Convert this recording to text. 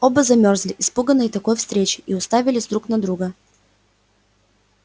оба замёрзли испуганные такой встречей и уставились друг на друга